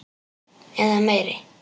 Eða meiri.